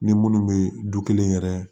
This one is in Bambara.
Ni minnu bɛ du kelen yɛrɛ